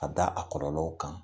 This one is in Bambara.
A da a kɔlɔlɔw kan